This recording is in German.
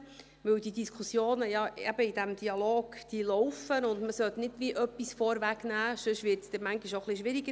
Denn die Diskussionen in diesem Dialog laufen, und man sollte nicht gewissermassen etwas vorwegnehmen, sonst wird es dann manchmal im Dialog auch etwas schwieriger.